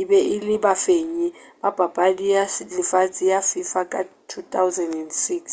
e be e le bafenyi ba papadi ya lefase ya fifa ka 2006